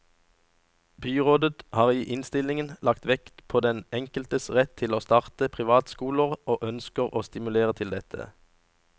Byrådet har i innstillingen lagt vekt på den enkeltes rett til å starte privatskoler og ønsker å stimulere til dette.